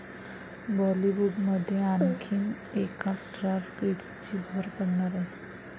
बॉलिवूडमध्ये आणखीन एका स्टार किड्सची भर पडणार आहे.